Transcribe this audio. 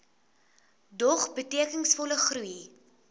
dog betekenisvolle groei